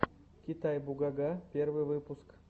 китай бугага первый выпуск